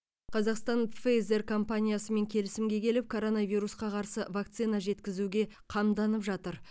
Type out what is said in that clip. қазақстан пфейзэр компаниясымен келісімге келіп коронавирусқа қарсы вакцина жеткізуге қамданып жатыр